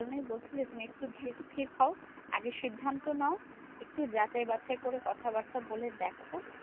এই কারণে বলছি যে, তুমি একটু ধীর স্থির হও। আগে সিদ্ধান্ত নাও। একটু যাচাই বাছাই করে কথা বার্তা বলে দেখো?